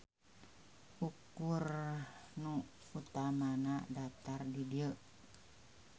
Ukur nu utamana daptar di dieu.